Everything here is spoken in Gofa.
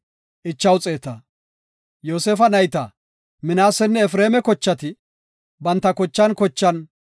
Yoosefa nayta Minaasenne Efreema kochati banta kochan kochan,